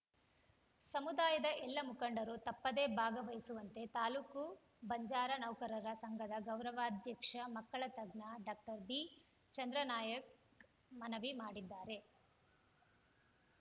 ಸಮುದಾಯದ ಎಲ್ಲ ಮುಖಂಡರು ತಪ್ಪದೆ ಭಾಗವಹಿಸುವಂತೆ ತಾಲೂಕು ಬಂಜಾರ ನೌಕರರ ಸಂಘದ ಗೌರವಾಧ್ಯಕ್ಷ ಮಕ್ಕಳ ತಜ್ಞ ಡಾಕ್ಟರ್ ಬಿ ಚಂದ್ರನಾಯ್ಕ ಮನವಿ ಮಾಡಿದ್ದಾರೆ